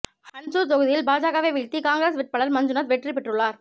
ஹன்சூர் தொகுதியில் பாஜகவை வீழ்த்தி காங்கிரஸ் வேட்பாளர் மஞ்சுநாத் வெற்றி பெற்றுள்ளார்